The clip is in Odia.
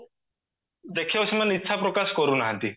ଦେଖିବାକୁ ସେମାନେ ଇଚ୍ଛା ପ୍ରକାଶ କରୁନାହାନ୍ତି